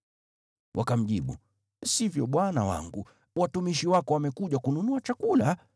Wakamjibu, “Sivyo bwana wangu. Watumishi wako wamekuja kununua chakula.